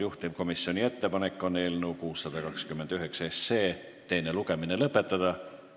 Juhtivkomisjoni ettepanek on eelnõu 629 teine lugemine lõpetada.